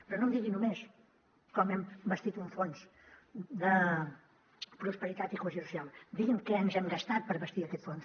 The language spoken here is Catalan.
però no em digui només com hem bastit un fons de prosperitat i cohesió social digui’m què ens hem gastat per bastir aquest fons